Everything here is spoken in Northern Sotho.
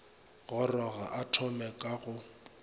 goroga a thome ka go